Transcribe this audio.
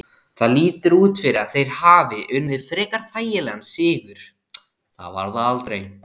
Það lítur út fyrir að þeir hafi unnið frekar þægilegan sigur, það var það aldrei.